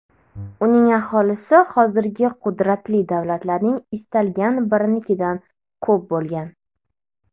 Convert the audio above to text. Uning aholisi hozirgi qudratli davlatlarning istalgan birinikidan ko‘p bo‘lgan”.